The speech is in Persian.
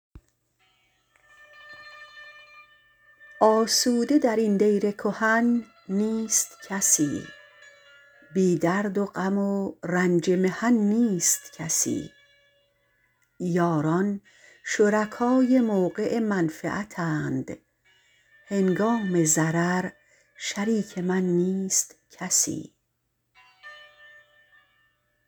آسوده در این دیر کهن نیست کسی بی درد و غم و رنج محن نیست کسی یاران شرکای موقع منفعتند هنگام ضرر شریک من نیست کسی